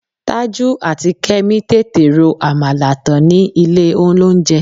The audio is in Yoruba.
Tájù àti Kẹ́mi tètè ro àmàlà tán ni ilé-olóunjẹ